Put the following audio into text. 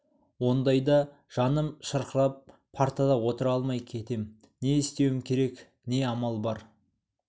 ондайда жаным шырқырап партада отыра алмай кетем не істеуім керек не амал бар